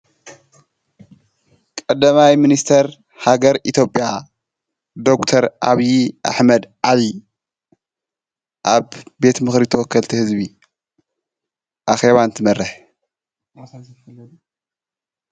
ቀደማይ ምንስተር ሃገር ኢትዮጲያ ዶክተር ኣብዪ ኣሕመድ ዓሊ ኣብ ቤት ምኽሪቶ ወከልቲ ሕዝቢ ኣኼዋን እንመርሕ፡፡